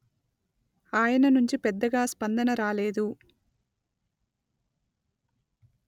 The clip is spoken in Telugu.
ఆయన నుంచి పెద్దగా స్పందన రాలేదు